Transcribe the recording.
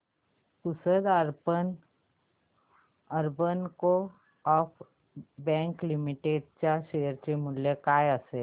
Pusad urban coop bank limited च्या share चे मूल्य काय असेल